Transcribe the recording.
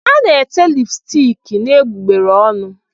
A na-ete lipstiki n'egbugbere ọnụ.